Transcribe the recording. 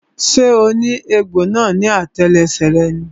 So ní egbò ní àtẹlẹsẹ̀ rẹ ni?